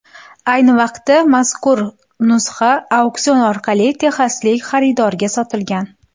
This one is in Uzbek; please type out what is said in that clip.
Ayni vaqtda mazkur nusxa auksion orqali texaslik xaridorga sotilgan.